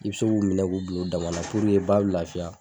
I bi se k'u minɛ k'u bil'u dama na ba bi lafiya